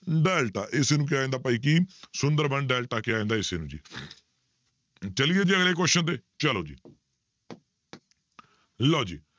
delta ਇਸਨੂੰ ਕਿਹਾ ਜਾਂਦਾ ਭਾਈ ਕੀ ਸੁੰਦਰਬਨ ਡੈਲਟਾ ਕਿਹਾ ਜਾਂਦਾ ਇਸਨੂੰ ਜੀ ਚੱਲਈਏ ਜੀ ਅਗਲੇ question ਤੇ ਚਲੋ ਜੀ ਲਓ ਜੀ